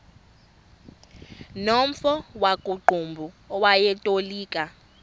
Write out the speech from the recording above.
nomfo wakuqumbu owayetolika